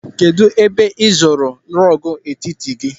Kedụ ebe ị zụrụ rọọgụ etiti gị?